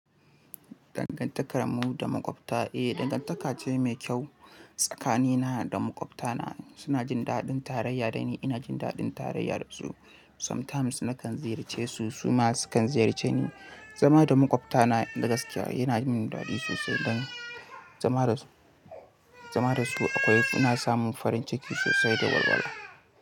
Dangantakar mu da makwabta, eh dangantaka ce mai kyau. Tsakanina da makwabtana suna jin daɗin tarayya da ni, ina jin daɗin tarayya da su. Sometimes nakan ziyarce su, su ma sukan ziyarce ni. Zama da makwabtana da gaskiya yana yi min daɗi sosai don zama da su akwai, suna samun farin ciki sosai da walwala.